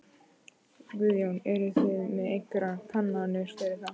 Guðjón: Eruð þið með einhverjar kannanir fyrir það?